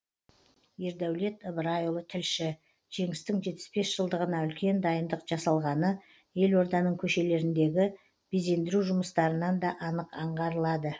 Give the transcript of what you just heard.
ердәулет ыбырайұлы тілші жеңістің жетпіс бес жылдығына үлкен дайындық жасалғаны елорданың көшелеріндегі безендіру жұмыстарынан да анық аңғарылады